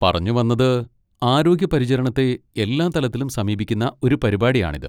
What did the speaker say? പറഞ്ഞുവന്നത്, ആരോഗ്യ പരിചരണത്തെ എല്ലാ തലത്തിലും സമീപിക്കുന്ന ഒരു പരിപാടിയാണിത്.